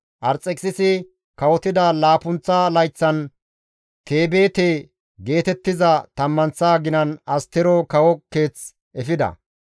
Arxekisisi kawotida laappunththa layththan, Tebeete geetettiza tammanththa aginan Astero kawo keeth efida.